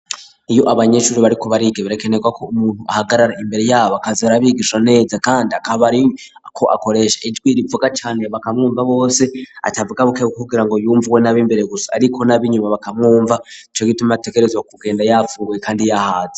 Iyo abanyeshuri bariko bariga berekeneweko umuntu ahagarara imbere yabo akaza adabigisha neza kandi akaba ariko akoresha ijwi rivuga cane bakamwumva bose atavuga bukebuke kugira ngo yumvwe n'ab imbere gusa ariko nabinyuma bakamwumva cogituma ategerezwa kugenda yafunguye kandi yahaze.